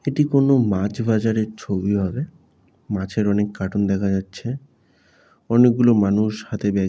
এটি কোন মাছ বাজারের ছবি হবে মাছের অনেক কার্টুন দেখা যাচ্ছে অনেকগুলো মানুষ হাতে ব্যাগ --